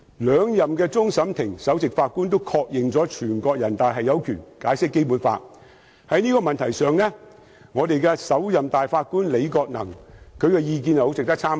兩任終審法院首席法官都曾確認，全國人民代表大會常務委員會有權解釋《基本法》，在這個問題上，首任大法官李國能的意見很值得參考。